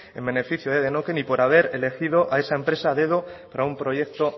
en beneficio de denokinn y por haber elegido a esa empresa a dedo para un proyecto